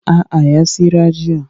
A'a ya tsira jiya